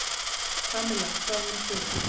Kamilla, hvað með þig?